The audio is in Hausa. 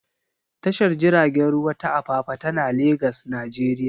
Tashar jiragen ruwa ta Apapa tana Legas, Najeriya.